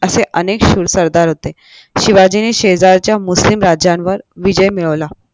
असे अनेक शूर सरदार होते शिवाजीने शेजारच्या मुस्लिम राजांवर विजय मिळवला